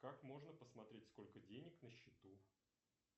как можно посмотреть сколько денег на счету